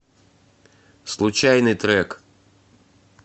случайный трек